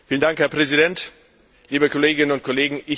Herr Präsident, liebe Kolleginnen und Kollegen!